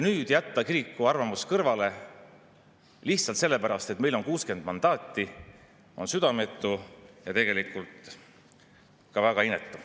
Jätta kiriku arvamus kõrvale lihtsalt sellepärast, et teil on 60 mandaati, on südametu ja tegelikult ka väga inetu.